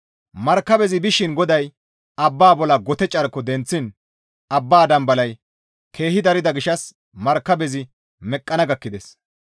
Markabezi bishin GODAY abba bolla gote carko denththiin abba dambalay keehi darida gishshas markabezi meqqana gakkides.